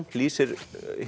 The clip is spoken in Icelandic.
lýsir